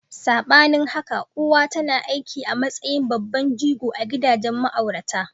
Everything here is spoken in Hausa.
Sabanin haka, uwa tana aiki a matsayin babban jigo a gidajen ma'aurata.